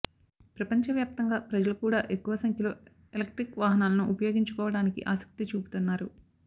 ప్రపంచవ్యాప్తంగా ప్రజలు కూడా ఎక్కువ సంఖ్యలో ఎలక్ట్రిక్ వాహనాలను ఉపయోగించుకోవడానికి ఆసక్తి చూపుతున్నారు